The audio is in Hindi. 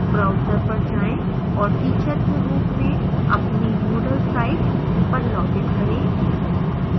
browser पर जाएं और teacher के रूप में अपनी moodle site पर login करें